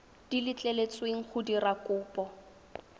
di letleletsweng go dira kopo